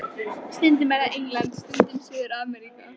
Stundum er það England, stundum Suður-Ameríka.